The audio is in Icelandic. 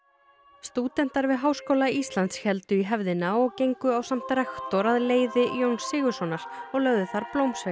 stúdentar við Háskóla Íslands héldu í hefðina og gengu ásamt rektor að leiði Jóns Sigurðssonar og lögðu þar blómsveig